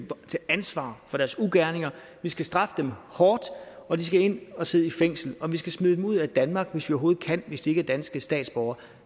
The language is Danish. ansvar for dets ugerninger vi skal straffe dem hårdt og de skal ind at sidde i fængsel om vi skal smide dem ud af danmark hvis de ikke er danske statsborgere